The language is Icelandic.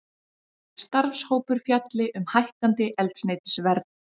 Starfshópur fjalli um hækkandi eldsneytisverð